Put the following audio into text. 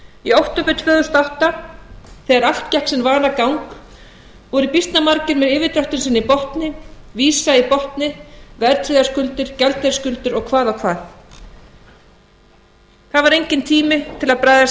í október tvö þúsund og átta þegar allt gekk sinn vanagang voru býsna margir með yfirdráttinn sinn í botni vísað í botni verðtryggðar skuldir gjaldeyrisskuldir og hvað og hvað það var enginn tími til að bregðast